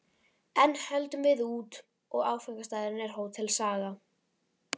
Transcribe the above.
Enn höldum við út, og áfangastaðurinn er Hótel Saga.